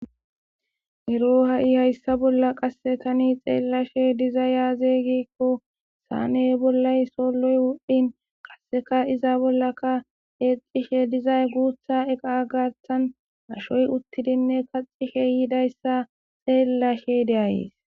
Ero ha'i hayssa bolla qasse tani xeellashe diza yaazegikko saane bollay soloy wuddhin qasseka iza bollaka eecishe dizay guutha eqa gartan ashoy uttidinne kaxishe yidayssa xeellashe deayees.